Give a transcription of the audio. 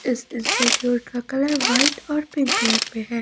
इस इंस्टिट्यूट का colour white और पिंक कलर में है।